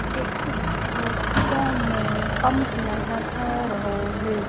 मुझे इस फोटो में पंप नजर आ रहा हैं।